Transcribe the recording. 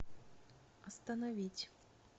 остановить